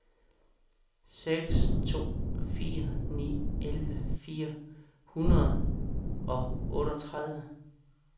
seks to fire ni elleve fire hundrede og otteogtredive